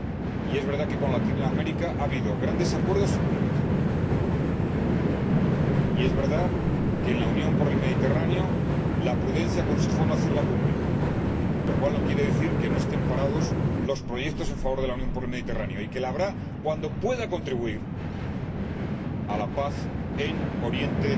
Y es verdad que con América Latina ha habido grandes acuerdos y cumbres. Y es verdad que, en la Unión para el Mediterráneo, la prudencia aconsejó no hacer la cumbre, lo cual no quiere decir que estén parados los proyectos en favor de la Unión para el Mediterráneo, y habrá cumbre cuando pueda contribuir a la paz en Oriente